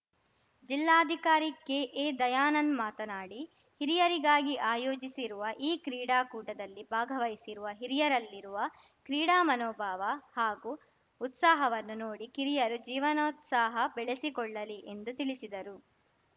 ಜಿಲ್ಲಾಧಿಕಾರಿ ಕೆಎ ದಯಾನಂದ್‌ ಮಾತನಾಡಿ ಹಿರಿಯರಿಗಾಗಿ ಆಯೋಜಿಸಿರುವ ಈ ಕ್ರೀಡಾಕೂಟದಲ್ಲಿ ಭಾಗವಹಿಸಿರುವ ಹಿರಿಯರಲ್ಲಿರುವ ಕ್ರೀಡಾ ಮನೋಭಾವ ಹಾಗೂ ಉತ್ಸಾಹವನ್ನು ನೋಡಿ ಕಿರಿಯರು ಜೀವನೋತ್ಸಾಹ ಬೆಳೆಸಿಕೊಳ್ಳಲಿ ಎಂದು ತಿಳಿಸಿದರು